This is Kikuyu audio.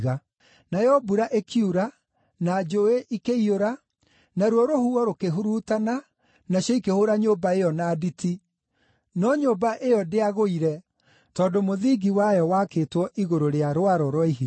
Nayo mbura ĩkiura, na njũũĩ ikĩiyũra, naruo rũhuho rũkĩhurutana nacio ikĩhũũra nyũmba ĩyo na nditi, no nyũmba ĩyo ndĩagũire, tondũ mũthingi wayo wakĩtwo igũrũ rĩa rwaro rwa ihiga.